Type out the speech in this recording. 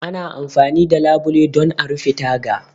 Ana amfani da labule don a rufe taga.